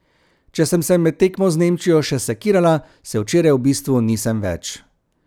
Če sem se med tekmo z Nemčijo še sekirala, se včeraj v bistvu nisem več.